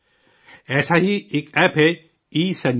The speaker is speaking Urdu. ایسا ہی ایک ایپ ہے، ای سنجیونی